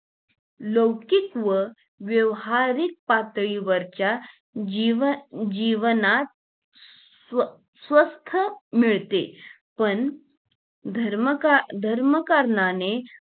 लौकिक व व्यावहारिक पातळीवरच्या जीव जीवनात स्व स्वस्थ मिळते पण धर्म का धर्म कारणाने